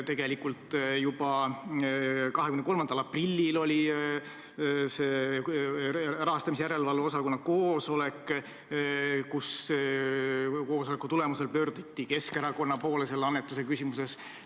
Tegelikult oli juba 23. aprillil Erakondade Rahastamise Järelevalve Komisjoni koosolek, mille tulemusel pöörduti Keskerakonna poole selle annetuse küsimuses.